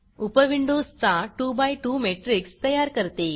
उपविंडोजचा 2 by 2 matrix तयार करते